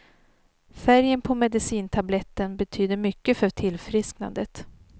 Färgen på medicintabletten betyder mycket för tillfrisknandet.